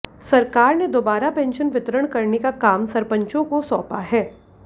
सरकार ने दोबारा पेंशन वितरण करने का काम सरपंचो को सौंपा है